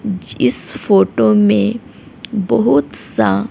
जिस फोटो में बहुत सा--